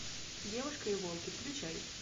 девушка и волки включай